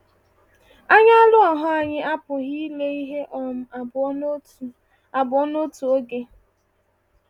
Anya anụ ahụ anyị apụghị ile ihe um abụọ n’otu abụọ n’otu oge.